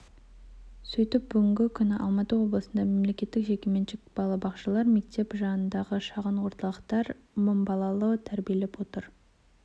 сөйтіп бүгінгі күні алматы облысында мемлекеттік жекеменшік балабақшалар мектеп жанындағы шағын орталықтар мың баланы тәрбиелеп отыр